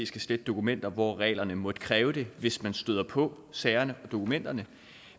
skal slette dokumenter hvor reglerne måtte kræve det hvis man støder på sagerne og dokumenterne